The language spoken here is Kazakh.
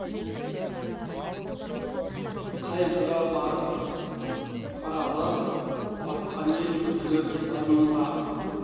қайғыға батып қаралы батқан ел күллі зар мұңға